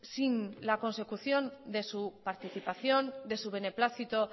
sin la consecución de su participación de su beneplácito